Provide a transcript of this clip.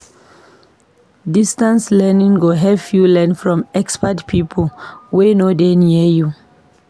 Distance learning go help you learn from expert pipo wey no dey near you.